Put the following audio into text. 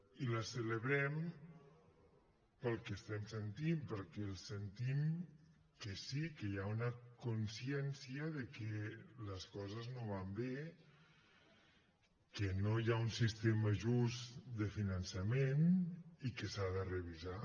i la celebrem pel que estem sentint perquè el sentim que sí que hi ha una consciència de que les coses no van bé que no hi ha un sistema just de finançament i que s’ha de revisar